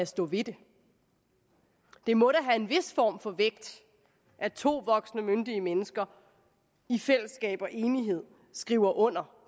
stå ved det det må da have en vis form for vægt at to voksne myndige mennesker i fællesskab og enighed skriver under